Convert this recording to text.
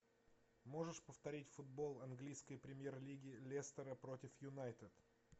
можешь повторить футбол английской премьер лиги лестера против юнайтед